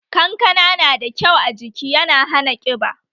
Kankana na da kyau ajiki yana hana ƙiba